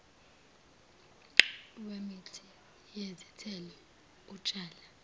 wemithi yezithelo utshale